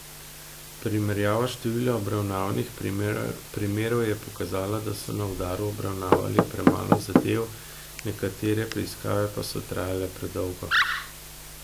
Primerjava števila obravnavnih primerov je pokazala, da so na uradu obravnavali premalo zadev, nekatere preiskave pa so trajale predolgo.